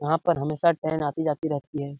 यहाँ पर हमेशा ट्रेन आती-जाती रहती है।